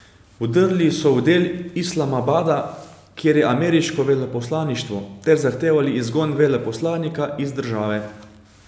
Vdrli so v del Islamabada, kjer je ameriško veleposlaništvo, ter zahtevali izgon veleposlanika iz države.